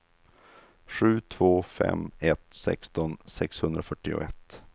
sju två fem ett sexton sexhundrafyrtioett